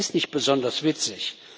Das ist nicht besonders witzig.